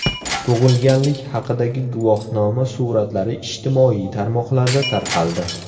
Tug‘ilganlik haqidagi guvohnoma suratlari ijtimoiy tarmoqlarda tarqaldi.